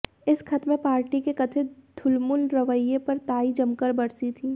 इस ख़त में पार्टी के कथित ढुलमुल रवैये पर ताई जमकर बरसीं थीं